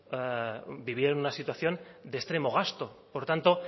vivieron una situación de extremo gasto por tanto